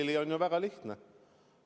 Sellele on ju väga lihtne vastata.